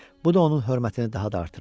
Bu da onun hörmətini daha da artırırdı.